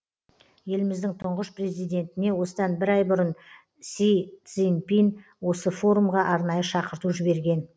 еліміздің тұңғыш президентіне осыдан бір ай бұрын си цзиньпин осы форумға арнайы шақырту жіберген